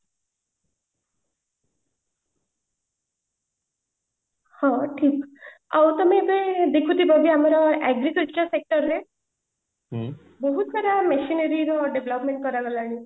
ହଁ ଠିକ ଆଉ ତମେ ଏବେ ଦେଖୁଥିବ କି ଏବେ ଆମର agriculture sector ରେ ବହୁତ ସାରା machinery ର development କର ଗଲାଣି